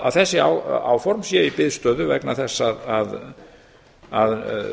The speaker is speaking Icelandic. að þessi áform eru í biðstöðu vegna þess að